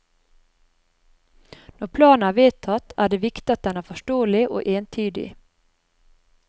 Når planen er vedtatt, er det viktig at den er forståelig og entydig.